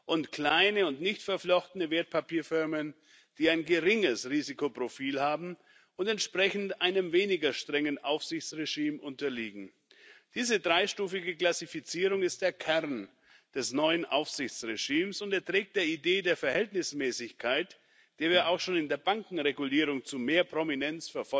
und kleine und nicht verflochtene Wertpapierfirmen, die ein geringes Risikoprofil haben und entsprechend einem weniger strengen Aufsichtsregime unterliegen. Diese dreistufige Klassifizierung ist der Kern des neuen Aufsichtsregimes und trägt der Idee der Verhältnismäßigkeit, der wir auch schon in der Bankenregulierung zu mehr Prominenz